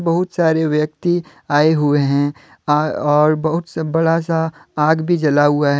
बहुत सारे व्यक्ति आए हुए हैं और बहुत से बड़ा सा आज भी जला हुआ है।